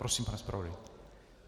Prosím, pane zpravodaji.